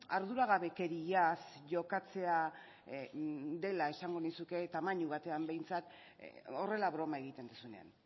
arduragabekeriaz jokatzea dela esango nizuke tamaina batean behintzat horrela broma egiten duzunean